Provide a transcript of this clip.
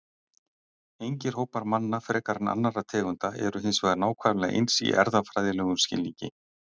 Engir hópar manna frekar en annarra tegunda eru hins vegar nákvæmlega eins í erfðafræðilegum skilningi.